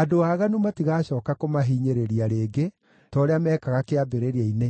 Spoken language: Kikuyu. Andũ aaganu matigacooka kũmahinyĩrĩria rĩngĩ, ta ũrĩa meekaga kĩambĩrĩria-inĩ